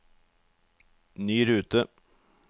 ny rute